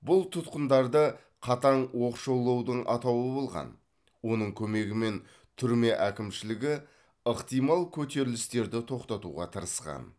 бұл тұтқындарды қатаң оқшаулаудың атауы болған оның көмегімен түрме әкімшілігі ықтимал көтерілістерді тоқтатуға тырысқан